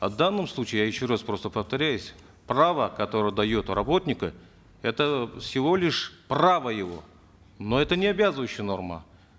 а в данном случае я еще раз просто повторяюсь право которое дает работнику это всего лишь право его но это не обязывающая норма